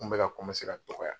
Kun bɛ ka ka dɔgɔya.